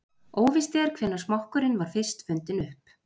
Óvíst er hvenær smokkurinn var fyrst fundinn upp.